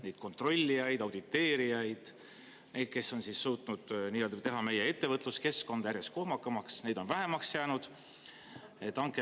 Neid kontrollijaid, auditeerijaid, neid, kes on suutnud teha meie ettevõtluskeskkonda järjest kohmakamaks, neid on vähemaks jäänud?